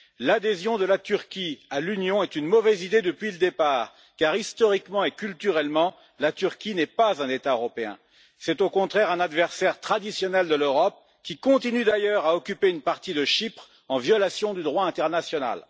L'adhésion de la Turquie à l'Union est une mauvaise idée depuis le départ car, historiquement et culturellement, la Turquie n'est pas un État européen, c'est au contraire un adversaire traditionnel de l'Europe, qui continue d'ailleurs à occuper une partie de Chypre en violation du droit international.